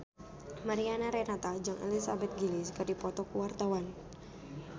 Mariana Renata jeung Elizabeth Gillies keur dipoto ku wartawan